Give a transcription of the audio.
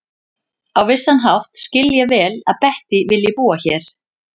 Á vissan hátt skil ég vel að Bettý vilji búa hér.